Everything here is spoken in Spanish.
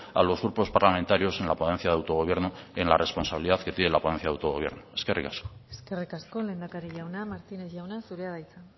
a los grupos parlamentarios en la ponencia de autogobierno en la responsabilidad que tiene la ponencia de autogobierno eskerrik asko eskerrik asko lehendakari jauna martínez jauna zurea da hitza